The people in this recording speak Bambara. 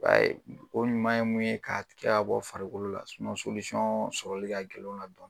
I ba ye o ɲuman ye mun ye ka tigɛ ka bɔ farikolo la, sɔrɔli ka gɛlɛn o la dɔɔnin